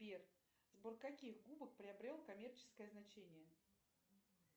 сбер сбор каких губок приобрел коммерческое значение